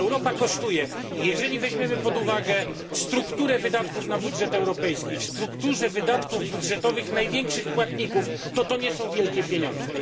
Europa kosztuje i jeżeli weźmiemy pod uwagę strukturę wydatków na budżet europejski w strukturze wydatków największych płatników, to nie są to wielkie pieniądze.